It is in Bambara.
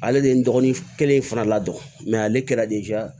Ale de ye n dɔgɔnin kelen in fana la dɔ mɛ ale kɛra